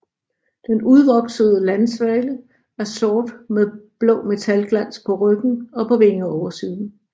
Den udvoksede landsvale er sort med blå metalglans på ryggen og på vingeoversiden